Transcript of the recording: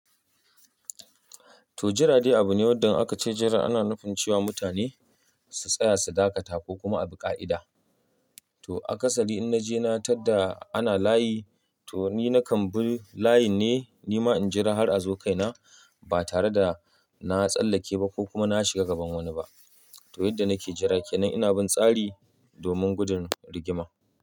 To, jira dai abu ne wanda aka ce jira ana nufin ce wa mutane su tsaya su dakata ko kuma a bik'a'ida. To a kasali in naje na tar da ana layi, to ni na kambun layin ne, nima in jira har a zo kaina ba tare da na tsallake ba ko kuma na shiga gaban wani ba. To yadda nake jira kenan ina bin tsari domin gudun rigima.